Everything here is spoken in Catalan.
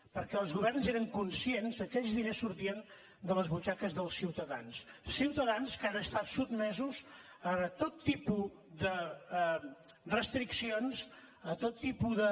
perquè els governs eren conscients que aquells diners sortien de les butxaques dels ciutadans ciutadans que han estat sotmesos a tot tipus de restriccions a tot tipus de